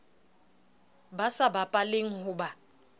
ba sa bapaleng ho ba